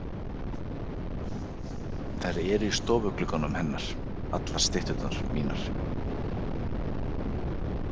Þær eru í stofuglugganum hennar, allar stytturnar mínar.